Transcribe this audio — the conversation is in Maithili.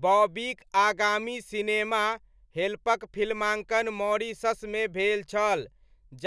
बॉबीक आगामी सिनेमा 'हेल्प'क फिल्माङ्कन मॉरीशसमे भेल छल